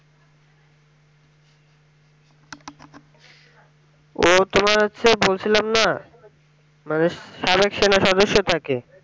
ও তোমার হচ্ছে বলছিলাম না মানে থাকে